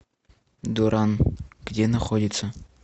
дуран где находится